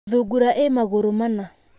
Thungura ĩ magũrũ mana.